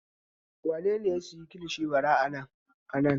Wane ne ya sayi kilishi bara a nan?